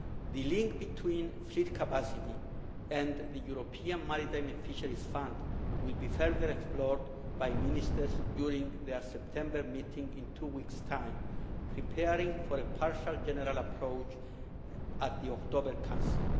The link between fleet capacity and the European Maritime and Fisheries Fund will be further explored by Ministers during their September meeting in two weeks' time, preparing for a partial general approach at the October Council.